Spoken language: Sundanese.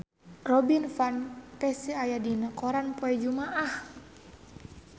Robin Van Persie aya dina koran poe Jumaah